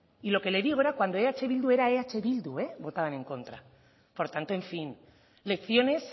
y lo que le digo era cuando eh bildu era eh bildu votaban en contra por tanto en fin lecciones